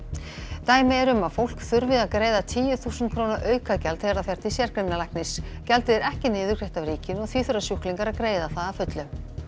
dæmi eru um að fólk þurfi að greiða tíu þúsund króna aukagjald þegar það fer til gjaldið er ekki niðurgreitt af ríkinu og því þurfa sjúklingar að greiða það að fullu